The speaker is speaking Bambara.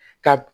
Ka